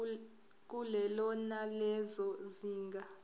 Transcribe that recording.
kulelo nalelo zinga